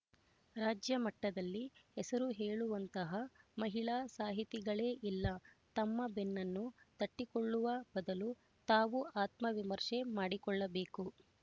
ರಾಜ್ಯಮಟ್ಟದಲ್ಲಿ ಹೆಸರು ಹೇಳುವಂತಹ ಮಹಿಳಾ ಸಾಹಿತಿಗಳೇ ಇಲ್ಲ ತಮ್ಮ ಬೆನ್ನನ್ನು ತಟ್ಟಿಕೊಳ್ಳುವ ಬದಲು ನಾವು ಆತ್ಮವಿಮರ್ಶೆ ಮಾಡಿಕೊಳ್ಳಬೇಕು